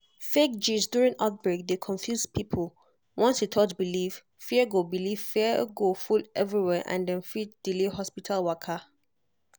fake gist during outbreak dey confuse people once e touch belief fear go belief fear go full everywhere and dem fit delay hospital waka.